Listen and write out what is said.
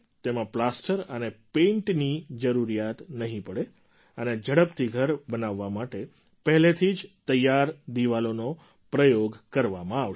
તેમાં પ્લાસ્ટર અને પેઇન્ટરની જરૂરિયાત નહીં પડે અને ઝડપથી ઘર બનાવવા માટે પહેલેથી જ તૈયાર દીવાલોનો પ્રયોગ કરવામાં આવશે